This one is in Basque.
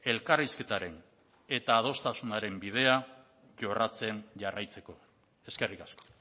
elkarrizketaren eta adostasunaren bidea jorratzen jarraitzeko eskerrik asko